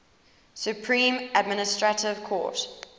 supreme administrative court